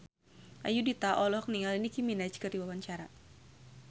Ayudhita olohok ningali Nicky Minaj keur diwawancara